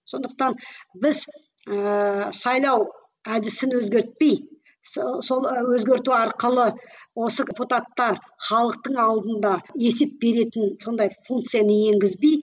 сондықтан біз ііі сайлау әдісін өзгертпей сол өзгерту арқылы осы халықтың алдында есеп беретін сондай функцияны енгізбей